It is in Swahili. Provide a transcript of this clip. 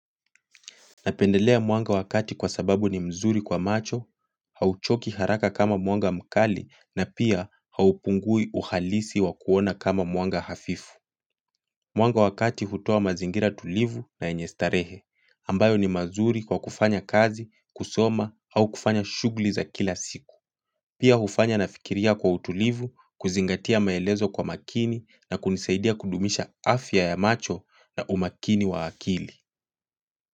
Napendelea mwanga wa kati kwa sababu ni mzuri kwa macho, hauchoki haraka kama mwanga mkali na pia haupungui uhalisi wa kuona kama mwanga hafifu. Mwanga wa kati hutoa mazingira tulivu na yenye starehe, ambayo ni mazuri kwa kufanya kazi, kusoma au kufanya shugli za kila siku. Pia hufanya nafikiria kwa utulivu, kuzingatia maelezo kwa makini na kunisaidia kudumisha afya ya macho na umakini wa akili.